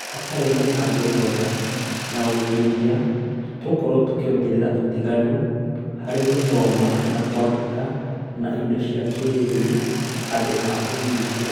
Hatarĩ mũbango mwega na ũigithia, tũgũkorwo tũkĩongerera ũtiganu harĩ gũthoma na kwandĩka na indo cia kĩĩrĩu handũ ha kũũnyihia